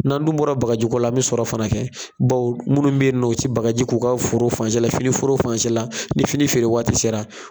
N'an dun bɔra bagajiko la, an bi sɔrɔ fana kɛ, bawo munnu be yen nɔ, u ti bagaji k'u ka foro fan si la, fini foro fan si la, ni fini feere waati sera